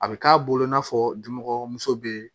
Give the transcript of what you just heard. A bɛ k'a bolo i n'a fɔ dimɔgɔmuso bɛ